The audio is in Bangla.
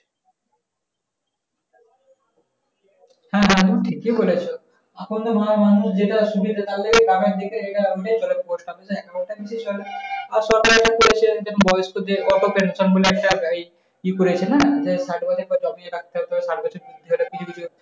হ্যাঁ বাধন ঠিকই বলেছ। আসলে মানুষ যেয়টে সুবিধা hospital এর একটা patient বয়স্কদের auto pension বলে একট ইয়ে করছে না যে